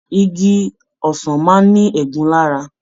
Igi ọsàn máa ní ẹ̀gún lára.